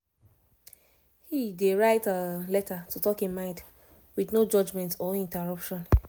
he he dey write letter to talk e mind with no judgement or interruption